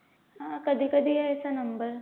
हा कधी कधी यायचा number